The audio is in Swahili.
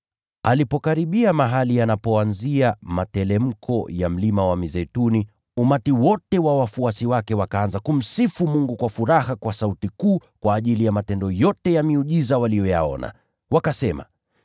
Alipokaribia mahali yanapoanzia materemko ya Mlima wa Mizeituni, umati wote wa wafuasi wake wakaanza kumsifu Mungu kwa furaha kwa sauti kuu kwa ajili ya matendo yote ya miujiza waliyoyaona. Wakasema: